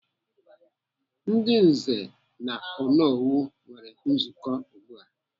Ndị nze na Onowu nwere nzukọ ugbu a.